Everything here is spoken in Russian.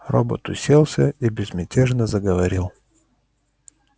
робот уселся и безмятежно заговорил